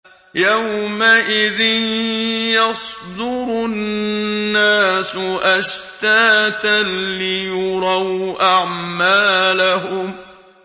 يَوْمَئِذٍ يَصْدُرُ النَّاسُ أَشْتَاتًا لِّيُرَوْا أَعْمَالَهُمْ